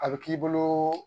A bɛ k'i boloo